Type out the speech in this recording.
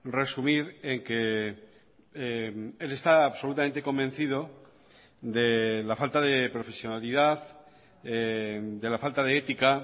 resumir en que él está absolutamente convencido de la falta de profesionalidad de la falta de ética